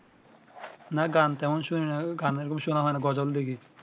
না গান তেমন শুনি না গান এই রকম শোনা হয় না গজল দেখি